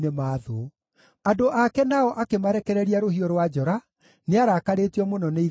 Andũ ake nao akĩmarekereria rũhiũ rwa njora; nĩarakarĩtio mũno nĩ igai rĩake.